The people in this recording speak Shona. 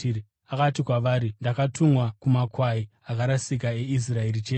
Akati kwavari, “Ndakatumwa kumakwai akarasika eIsraeri chete.”